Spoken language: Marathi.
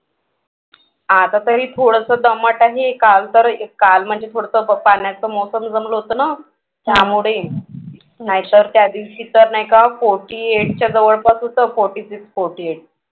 आता तरी थोडंसं दमट आहे काल तर काल म्हणजे थोडंसं पाण्याचं मौसम जमलं होतं ना त्यामुळे नाहीतर त्यादिवशी नाही का forty eight च्या जवळपास होतं. forty six forty eight